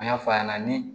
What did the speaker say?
An y'a f'a ɲɛna ni